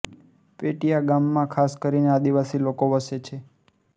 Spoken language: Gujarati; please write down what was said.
પેટીયા ગામમાં ખાસ કરીને આદિવાસી લોકો વસે છે